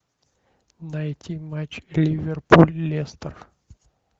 найти матч ливерпуль лестер